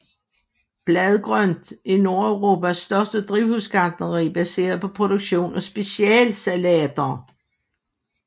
BladGrønt er Nordeuropas største drivhusgartneri baseret på produktion af specialsalater